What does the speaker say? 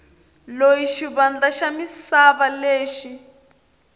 loyi xivandla xa misava lexi